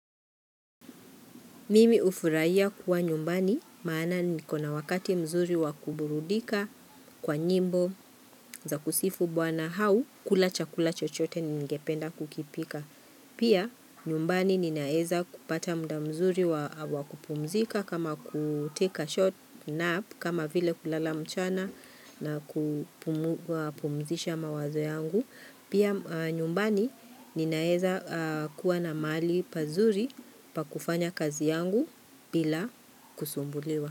Mimi ufurahia kuwa nyumbani maana niko na wakati mzuri wa kuburudika kwa nyimbo za kusifu bwana au kula chakula chochote ningependa kukipika. Pia nyumbani ninaweza kupata mda mzuri wa kupumzika kama kutake a short nap kama vile kulala mchana na kupumzisha mawazo yangu. Pia nyumbani ninaeza kuwa na mahali pazuri pa kufanya kazi yangu bila kusumbuliwa.